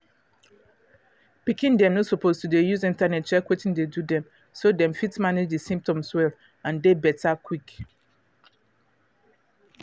pikin dem no suppose to dey use internet check wetin dey do them so them fit manage the symptoms well and dey better quick